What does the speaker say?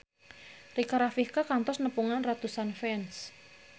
Rika Rafika kantos nepungan ratusan fans